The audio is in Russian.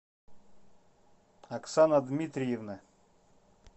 оксана дмитриевна